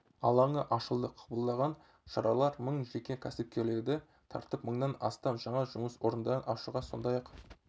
алаңы ашылды қабылданған шаралар мың жеке кәсіпкерлерді тартып мыңнан астам жаңа жұмыс орындарын ашуға сондай-ақ